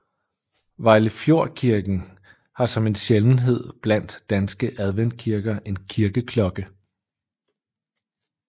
Vejlefjordkirken har som en sjældenhed blandt danske adventkirker en kirkeklokke